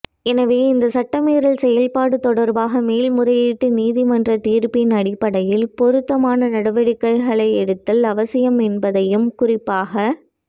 எனவே இந்த சட்டமீறல் செயற்பாடு தொடர்பாக மேல்முறையீட்டு நீதிமன்ற தீர்ப்பின் அடிப்படையில் பொருத்தமான நடவடிக்கைகளை எடுத்தல் அவசியம் என்பதையும் குறிப்பாக